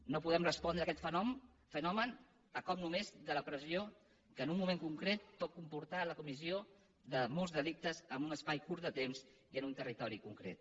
no podem res pondre a aquest fenomen a cop només de la pressió que en un moment concret pot comportar la comissió de molts delictes en un espai curt de temps i en un territori concret